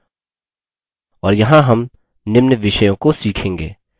और यहाँ हम निम्न विषयों को सीखेंगे: